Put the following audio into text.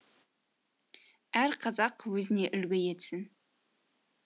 әр қазақ өзіне үлгі етсін